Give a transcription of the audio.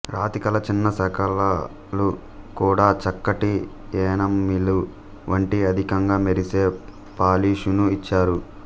రాతి కళ చిన్న శకలాలు కూడా చక్కటి ఎనామిలు వంటి అధికంగా మెరిసే పాలిషును ఇచ్చారు